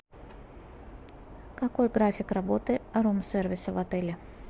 какой график работы рум сервиса в отеле